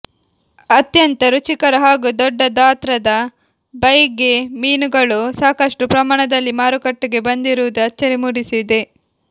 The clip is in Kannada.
ಅತ್ಯಂತ ರುಚಿಕರ ಹಾಗೂ ದೊಡ್ಡ ದಾತ್ರದ ಬೈಗೆ ಮೀನುಗಳು ಸಾಕಷ್ಟು ಪ್ರಮಾಣದಲ್ಲಿ ಮಾರುಕಟ್ಟೆಗೆ ಬಂದಿರುವುದು ಅಚ್ಚರಿ ಮೂಡಿಸಿದೆ